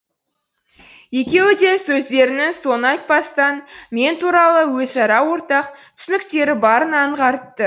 екеуі де сөздерінің соңын айтпастан мен туралы өзара ортақ түсініктері барын аңғартты